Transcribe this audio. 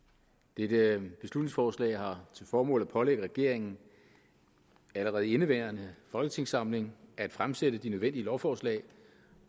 dette beslutningsforslag har til formål at pålægge regeringen allerede i indeværende folketingssamling at fremsætte de nødvendige lovforslag